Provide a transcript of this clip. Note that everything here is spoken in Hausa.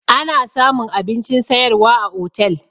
Ana samun abincin sayarwa a otel